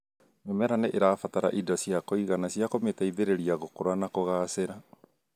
Mĩmera nĩ ĩrabatara indo cia kũigana ciakũmĩteithĩriria gũkũra na kũgacĩra